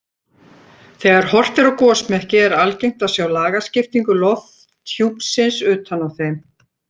Þegar horft er á gosmekki er algengt að sjá lagskiptingu lofthjúpsins utan á þeim.